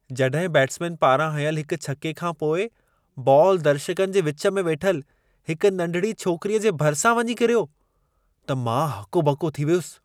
जॾहिं बैटसमेन पारां हयंल हिक छके खां पोइ बॉल दर्शकनि जे विच में वेठल हिक नंढिड़ी छोकिरीअ जे भरिसां वञी किरियो, त मां हको ॿको थी वियुसि।